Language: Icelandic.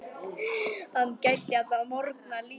Hann gæddi alla morgna lífi.